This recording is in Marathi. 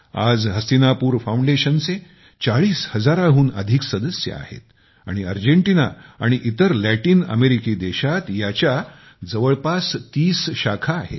आज हस्तिनापुर फाऊंडेशनचे चाळीस हजाराहुन अधिक सदस्य आहेत आणि अर्जेंटिना आणि इतर लॅटिन अमेरिकी देशात याच्या जवळपास तीस शाखा आहेत